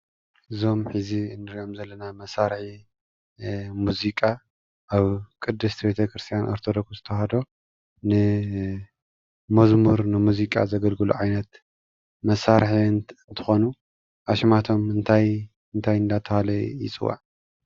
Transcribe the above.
እዞም ሕዚ እንርእዮም ዘለና መሳርሒ ሙዚቃ ኣብ ቅድስቲ ቤተ ክርስትያን ኦርቶዶክስ ተዋህዶ ንመዝሙር ንሙዚቃ ዘገልግሉ ኣይነት መሳርሒ እንትኾኑ ኣሽማቶም እንታይ እንታይ እንዳተባሃለ ይፅዋዕ?